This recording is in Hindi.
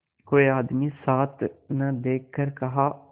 कोई आदमी साथ न देखकर कहा